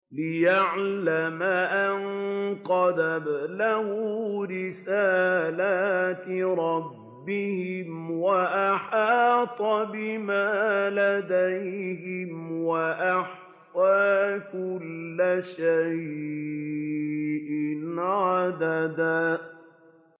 لِّيَعْلَمَ أَن قَدْ أَبْلَغُوا رِسَالَاتِ رَبِّهِمْ وَأَحَاطَ بِمَا لَدَيْهِمْ وَأَحْصَىٰ كُلَّ شَيْءٍ عَدَدًا